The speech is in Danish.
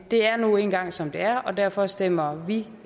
det er nu engang som det er og derfor stemmer vi